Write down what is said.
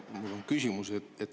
Mul on küsimus.